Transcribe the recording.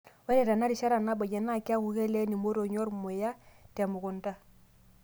Ore tenarishata nabayie naa kiaaku keleen imotonyi ormuya te mukunta.